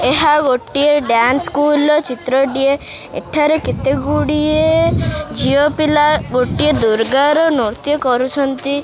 ଏହା ଗୋଟିଏ dance school ର ଚିତ୍ରଟିଏ ଏଠାରେ କେତେ ଗୁଡ଼ିଏ ଝିଅପିଲା ଗୋଟିଏ ଦୁର୍ଗାର ନୃତ୍ୟ କରୁଛନ୍ତି।